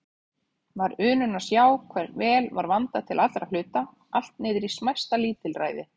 Var unun að sjá hve vel var vandað til allra hluta, allt niðrí smæsta lítilræði.